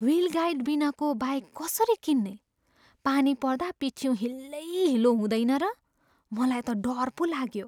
Wheel guard बिनाको bike कसरी किन्ने? पानी पर्दा पिठिउँ हिलैहिलो हुँदैन र? मलाई त डर पो लाग्यो।